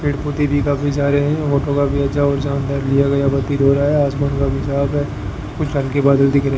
पेड़ पोधै भी काफी सारे हैं ऑटो का भी प्रतीति हो रहा है आसमान काफी साफ है कुछ रंग के बादल दिख रहे --